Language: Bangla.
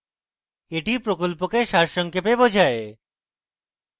এটি প্রকল্পকে সারসংক্ষেপে বোঝায়